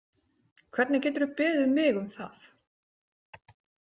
Hvernig geturðu beðið mig um það?